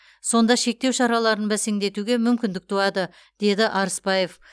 сонда шектеу шараларын бәсеңдетуге мүмкіндік туады деді арыспаев